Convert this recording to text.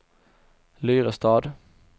Lyrestad